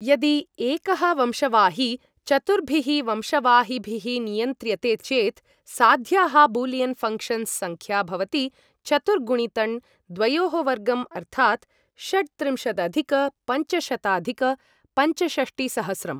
यदि एकः वंशवाही चतुर्भिः वंशवाहिभिः नियन्त्र्यते चेत्, साध्याः बूलियन् फङ्क्षन्स् सङ्ख्या भवति चतुर्गुणितण् द्वयोः वर्गं अर्थात् षट्त्रिंशदधिक पञ्चशताधिक पञ्चषष्टिसहस्रं।